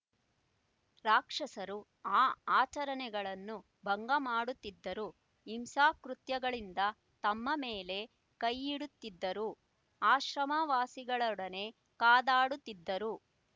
ರಾಕ್ಷಸರು ಆ ಆಚರಣೆಗಳನ್ನು ಭಂಗ ಮಾಡುತ್ತಿದ್ದರು ಹಿಂಸಾಕೃತ್ಯಗಳಿಂದ ತಮ್ಮ ಮೇಲೆ ಕೈಯಿಡುತ್ತಿದ್ದರು ಆಶ್ರಮವಾಸಿಗಳೊಡನೆ ಕಾದಾಡುತ್ತಿದ್ದರು